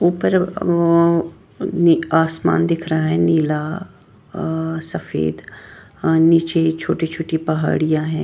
ऊपर उम ये आसमान दिख रहा है नीला अं सफेद नीचे छोटे छोटे पहड़िया है।